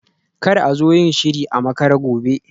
Kar a zo yin shiri a makare gobe